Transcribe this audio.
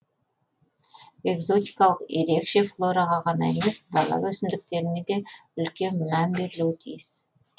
экзотикалық ерекше флораға ғана емес дала өсімдіктеріне де үлкен мән берілуі тиіс